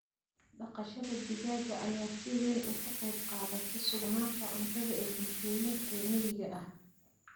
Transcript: Dhaqashada digaaga ayaa si weyn uga qayb qaadata sugnaanta cuntada ee bulshooyinka reer miyiga ah.